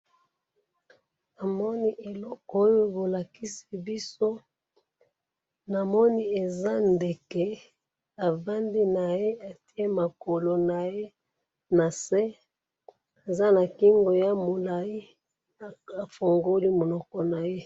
Namoni eloko oyo bolakisi biso, namoni eza ndeke, avandi naye atye makolo naye nase, aza nakingo ya mulayi, afungoli munoko naye.